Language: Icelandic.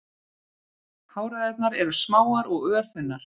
Háræðarnar eru smáar og örþunnar.